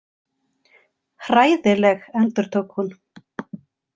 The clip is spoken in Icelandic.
Hræðileg, endurtók hún.